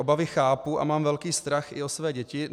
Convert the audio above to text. Obavy chápu a mám velký strach i o své děti.